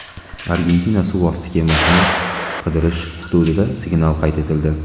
Argentina suv osti kemasini qidirish hududida signal qayd etildi.